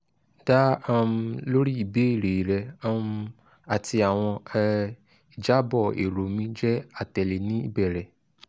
da um lori ibeere rẹ um ati awọn um ijabọ ero mi jẹ atẹle ni ibere